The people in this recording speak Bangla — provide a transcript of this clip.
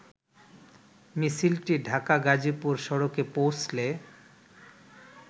মিছিলটি ঢাকা-গাজীপুর সড়কে পেীঁছলে